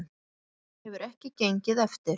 Það hefur ekki gengið eftir